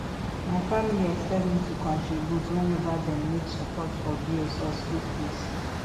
my family expect me to contribute whenever them need support for bills or school fees